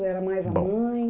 Ou era mais a mãe? Bom,